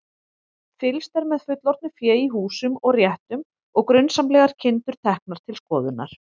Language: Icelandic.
Fylgst er með fullorðnu fé í húsum og réttum og grunsamlegar kindur teknar til skoðunar.